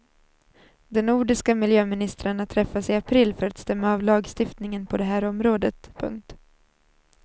De nordiska miljöministrarna träffas i april för att stämma av lagstiftningen på det här området. punkt